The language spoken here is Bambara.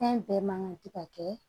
Fɛn bɛɛ man kan tɛ ka kɛ